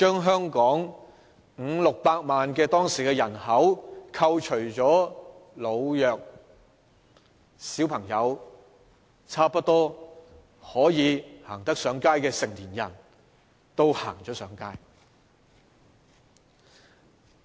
香港當時有五六百萬的人口，扣除老弱和小朋友後，可以說差不多有能力走上街的成年人都上街了。